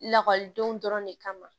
Lakɔlidenw dɔrɔn de kama